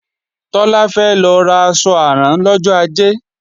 Tọ́lá fẹ́ lọ ra aṣọ àrán lọ́jọ ajé